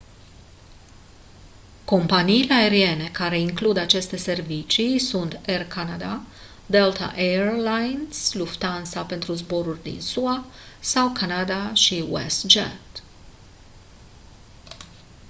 companiile aeriene care includ aceste servicii sunt air canada delta air lines lufthansa pentru zboruri din sua sau canada și westjet